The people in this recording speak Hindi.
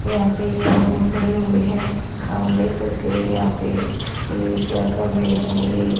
यहां पे ये आदमी खड़े हुए हैं आप देख सकते हो यहां पे ये क्या कर रहे हैं ये--